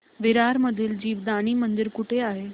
विरार मधील जीवदानी मंदिर कुठे आहे